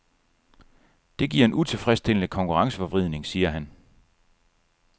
Det giver en utilfredsstillende konkurrenceforvridning, siger han.